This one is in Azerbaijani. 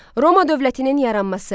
Roma dövlətinin yaranması.